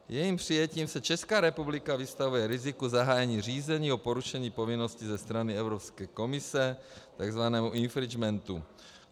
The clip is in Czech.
Jejím přijetím se Česká republika vystavuje riziku zahájení řízení o porušení povinnosti ze strany Evropské komise, tzv. infringementu.